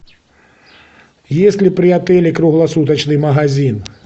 есть ли при отеле круглосуточный магазин